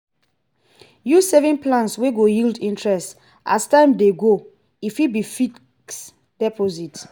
use saving plan wey go yield interest as time dey go e fit be fixed deposit